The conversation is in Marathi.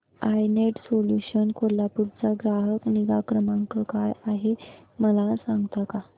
आय नेट सोल्यूशन्स कोल्हापूर चा ग्राहक निगा क्रमांक काय आहे मला सांगता का